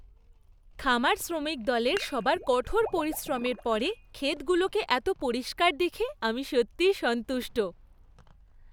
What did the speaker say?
খামার শ্রমিক দলের সবার কঠোর পরিশ্রমের পরে ক্ষেতগুলোকে এত পরিষ্কার দেখে আমি সত্যিই সন্তুষ্ট।